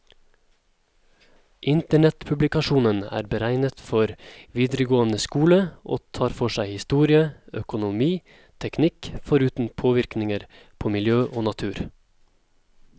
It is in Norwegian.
Internettpublikasjonen er beregnet for videregående skole, og tar for seg historie, økonomi, teknikk, foruten påvirkninger på miljø og natur.